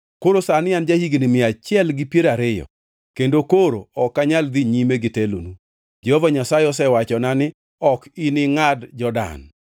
“Koro sani an ja-higni mia achiel gi piero ariyo kendo koro ok anyal dhi nyime gi telonu. Jehova Nyasaye osewachona ni, ‘Ok iningʼad Jordan.’